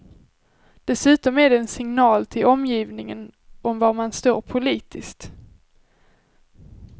Dessutom är det en signal till omgivningen om var man står politiskt.